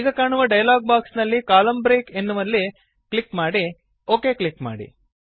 ಈಗ ಕಾಣುವ dialog box ನಲ್ಲಿ ಕಾಲಮ್ನ ಬ್ರೇಕ್ ಎಂಬಲ್ಲಿ ಕ್ಲಿಕ್ ಮಾಡಿ ಒಕ್ ಕ್ಲಿಕ್ ಮಾಡಿ